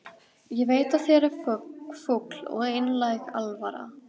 Ég veit að þér er full og einlæg alvara.